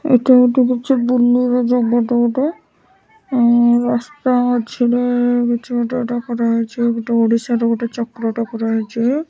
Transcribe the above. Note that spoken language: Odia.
ଏଇଟା ଗୋଟେ ହୋଉଚି ବୁଲିବା ଜାଗାଟେ ଗୋଟେ ଆଉ ରାସ୍ତା ମଝିରେ ହୋଉଚି ଗୋଟେ ଏଟା କରାହେଇଚି। ଗୋଟେ ଓଡ଼ିଶାର ଗୋଟେ ଚକ୍ରଟେ କରାହେଇଚି।